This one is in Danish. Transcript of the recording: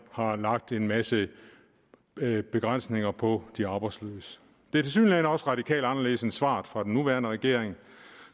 har lagt en masse begrænsninger på de arbejdsløse det er tilsyneladende også radikalt anderledes end svaret fra den nuværende regering